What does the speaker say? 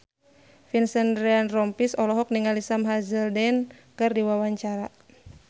Vincent Ryan Rompies olohok ningali Sam Hazeldine keur diwawancara